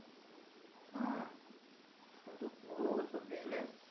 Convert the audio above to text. হ্যাঁ, এখন তো পুরো সব business.